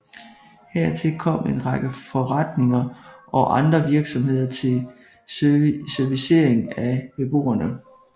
Hertil kom en række forretninger og andre virksomheder til servicering af beboerne